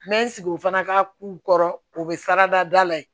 N bɛ n sigi o fana ka k'u kɔrɔ o bɛ sara da la ye